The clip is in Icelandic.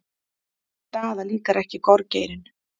Daða líkar ekki gorgeirinn.